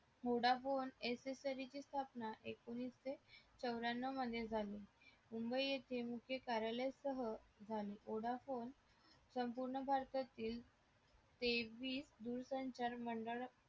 vodafone accessories सरी ची स्थापना एकोणीशे चौर्यानव मुंबई येथे मुख्य कार्यालय सह झाली vodafone संपूर्ण भारतातील तेवीस दिवसाच्या नंतर मंडळ